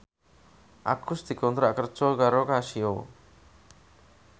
Agus dikontrak kerja karo Casio